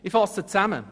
Ich fasse zusammen: